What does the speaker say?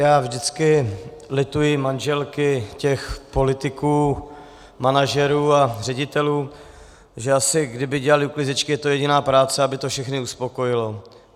Já vždycky lituji manželky těch politiků, manažerů a ředitelů, že asi kdyby dělaly uklízečky, je to jediná práce, aby to všechny uspokojilo.